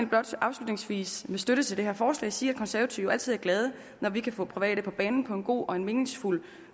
blot afslutningsvis med støtte til det her forslag sige at konservative altid er glade når vi kan få private på banen på en god og en meningsfuld